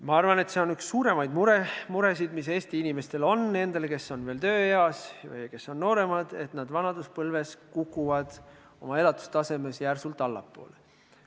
Ma arvan, et üks suuremaid muresid, mis Eesti inimestel on – nendel, kes on veel tööeas ja kes on nooremad –, on see, et vanaduspõlves kukuvad nad elatustasemes järsult allapoole.